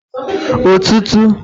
ọtụtụ